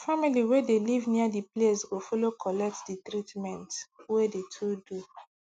family wey de live near de place go follow collect de treament wey de to do